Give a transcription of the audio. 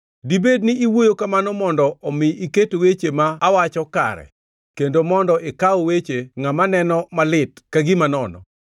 Dibed ni iwuoyo kamano mondo omi iket weche ma awacho kare kendo mondo ikaw weche ngʼama neno malit ka gima nono?